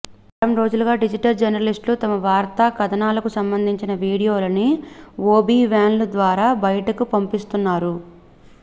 వారం రోజులుగా డిజిటల్ జర్నలిస్టులు తమ వార్తా కథనాలకు సంబంధించిన వీడియోలను ఒబి వ్యాన్ల ద్వారా బయటికి పంపిస్తున్నారు